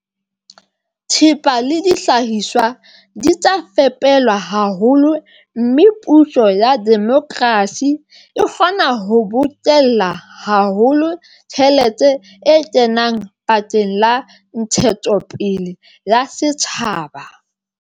Thepa le dihlahiswa di tla fepelwa haholo, mme puso ya demokrasi e kgona ho bokella haholo tjhelete e kenang bakeng la ntshetsopele ya setjhaba.